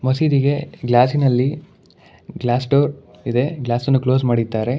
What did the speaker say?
ಮಸೀದಿಗೆ ಗ್ಲಾಸಿನಲ್ಲಿ glass door ಇದೆ ಗ್ಲಾಸನ್ನು ಕ್ಲೋಸ್ ಮಾಡಿದ್ದಾರೆ.